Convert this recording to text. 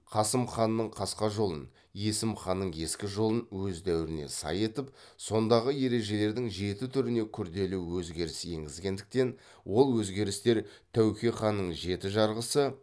қасым ханның қасқа жолын есім ханның ескі жолын өз дәуіріне сай етіп сондағы ережелердің жеті түріне күрделі өзгеріс енгізгендіктен ол өзгерістер тәуке ханның жеті жарғысы